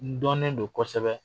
N dɔnnen don kosɛbɛ;